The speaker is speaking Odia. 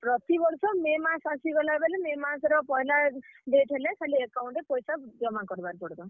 ପ୍ରତିବର୍ଷ ମେ ମାସ୍ ଆସିଗଲା ବେଲେ, ମେ ମାସ୍ ର ପହେଲା date ହେଲେ, ଖାଲି account ରେ ପଏଶା ଜମା କର୍ ବାର୍ ପଡ୍ ବା।